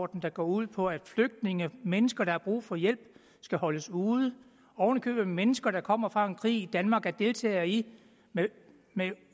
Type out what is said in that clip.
der går ud på at flygtninge mennesker der har brug for hjælp skal holdes ude oven i købet mennesker der kommer fra en krig som danmark er deltager i med